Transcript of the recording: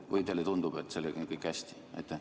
Või teile tundub, et sellega on kõik hästi?